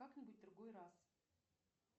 как нибудь в другой раз